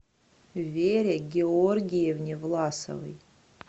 вере георгиевне власовой